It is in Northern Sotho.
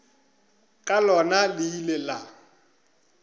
ka lona le ile la